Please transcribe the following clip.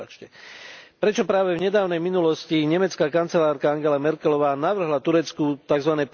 Prečo práve v nedávnej minulosti nemecká kancelárka Angela Merkelová navrhla Turecku tzv.